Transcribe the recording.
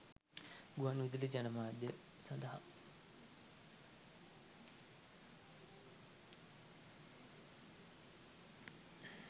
ගුවන් විදුලි ජනමාධ්‍ය සඳහා